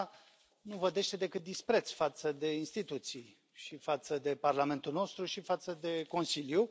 Asta nu vădește decât dispreț față de instituții și față de Parlamentul nostru și față de Consiliu.